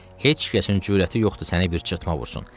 Heç kəsin cürəti yoxdur səni bir çirtma vursun.